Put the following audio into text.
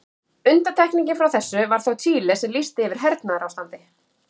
Undantekningin frá þessu var þó Chile sem lýsti yfir hernaðarástandi.